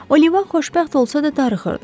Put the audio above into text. Oliva xoşbəxt olsa da darıxırdı.